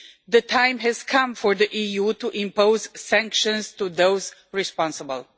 The time has come for the EU to impose sanctions on those responsible.